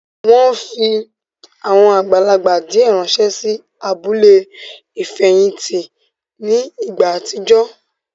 Wọ́n fi àwọn àgbàlagbà díẹ̀ ránsẹ́ sí abúlé ìfẹ̀hìntì ní ìgbà àtijọ́